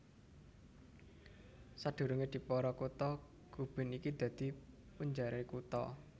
Sadurungé dipara kutha Gubin iki dadi punjeré kutha